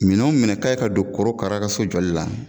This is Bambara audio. Minɛn o minɛn kan ka don korokara ka so jɔli la